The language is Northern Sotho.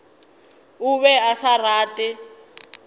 o be a sa rate